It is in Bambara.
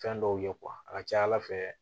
Fɛn dɔw ye a ka ca ala fɛ